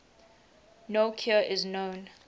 no cure is known